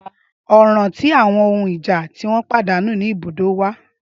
Ọran ti awọn ohun ija ti o padanu ni ibudó wa